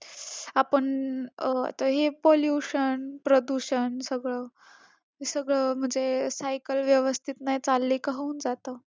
आपण अं आता हे pollution प्रदूषण सगळं हे सगळं म्हणजे cycle व्यवस्थित नाही चालली का होऊन जातं.